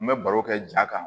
N bɛ baro kɛ ja kan